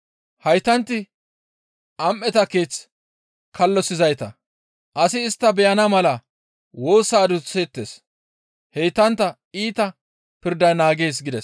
Haytanti am7eta keeth kallosizayta; asi istta beyana mala woosa adusseettes; heytantta iita pirday naagees» gides.